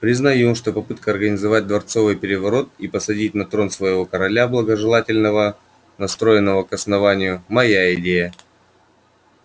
признаю что попытка организовать дворцовый переворот и посадить на трон своего короля благожелательного настроенного к основанию моя идея